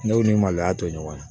Ne ni maloya to ɲɔgɔn na